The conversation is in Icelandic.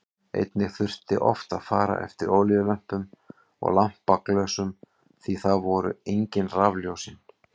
Einnig þurfti oft að fara eftir olíulömpum og lampaglösum því að þá voru engin rafljósin.